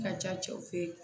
Ka ca cɛw fe ye